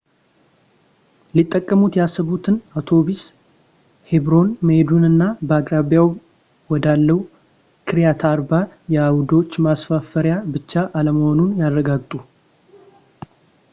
ሊጠቀሙት ያሰቡት አውቶቡስ ሄብሮን መሄዱንና በአቅራቢያው ወዳለው ኪርያት አርባ የአይሁዶች መስፈሪያ ብቻ አለመሆኑን ያረጋግጡ